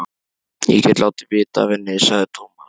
Ég get látið vita af henni, sagði Tómas.